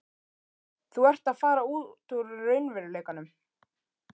Þú ert að fara út úr raunveruleikanum.